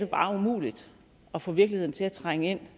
bare er umuligt at få virkeligheden til at trænge ind